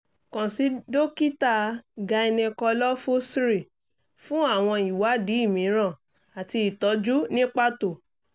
kàn sí dókítà gynecolofusr fún àwọn ìwádìí mìíràn àti ìtọ́jú ní pàtó